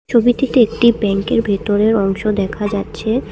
ছবিটিতে একটি ব্যাংকের ভেতরের অংশ দেখা যাচ্ছে।